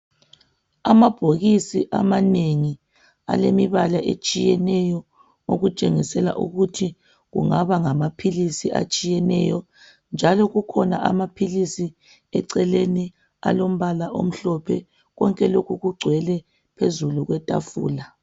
Amabhokisi amanengi alemibala etshiyeneyo okutshengisela ukuthi kungaba ngamaphilisi atshiyeneyo njalo kukhona amaphilisi eceleni alombala omhlophe konke lokhu kugcwele phezulu kwetafula.